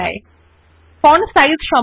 একই পদ্ধতিত়ে font size বড় করা যায়